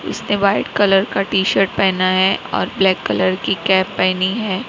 इसने white colour का T shirt पहना है और ब्लैक कलर की कैप पहनी है।